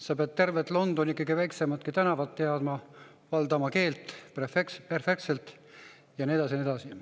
Sa pead tervet Londonit, kõige väiksematki tänavat teadma, valdama keelt perfektselt ja nii edasi ja nii edasi.